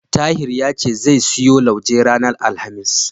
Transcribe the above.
Tahir ya ce zai siyo lauje ranar Alhamis.